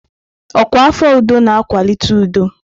Ọkwa afọ udo na-akwalite udo.